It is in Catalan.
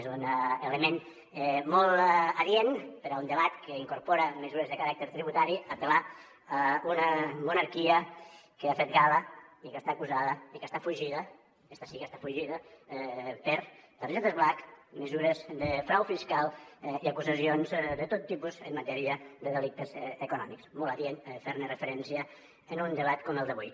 és un element molt adient per a un debat que incorpora mesures de caràcter tributari apel·lar a una monarquia que ha fet gala i que està acusada i que està fugida esta sí que està fugida per targetes black mesures de frau fiscal i acusacions de tot tipus en matèria de delictes econòmics molt adient fer ne referència en un debat com el d’avui